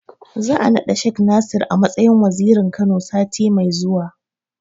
Za'a naɗa Shek Nasir a matsayin Wazirin Kano, sati mai zuwa.